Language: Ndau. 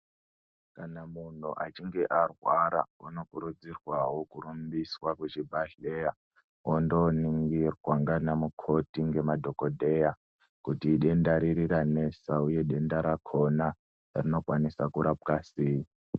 Kana munhu achinge arwara unokurudzirwawo kurumbiswa kuchibhedhlera ondoningirwa ngana mukoti ngemadhokodheya kuti idenda riri ranesa uye denda rakona rinokwanisa kurapwa sei.